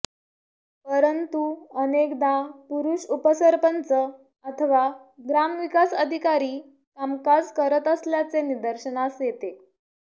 परंतु अनेकदा पुरुष उपसरपंच अथवा ग्रामविकास अधिकारी कामकाज करत असल्याचे निदर्शनास येते